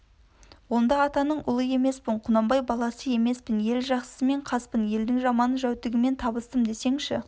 онда атаның ұлы емеспін құнанбай баласы емеспін ел жақсысымен қаспын елдің жаман-жәутігімен табыстым десеңші